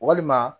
Walima